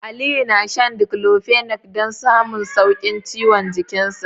Aliyu na shan Diclofenac don samun sauƙin ciwon jiki.